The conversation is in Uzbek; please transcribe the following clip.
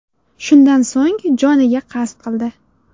Shundan so‘ng joniga qasd qildi.